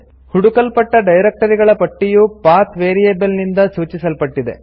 ಹುಡುಕಲ್ಪಟ್ಟ directory ಗಳ ಪಟ್ಟಿಯು path variable ನಿಂದ ಸೂಚಿಸಲ್ಪಟ್ಟಿದೆ